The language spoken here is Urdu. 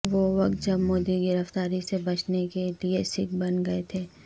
وہ وقت جب مودی گرفتاری سے بچنے کے لیے سکھ بن گئے تھے